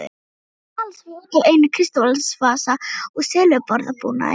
Ekki talast við út af einum kristalsvasa og silfurborðbúnaði.